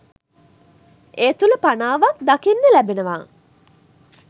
ඒ තුල පනාවක් දකින්න ලැබෙනවා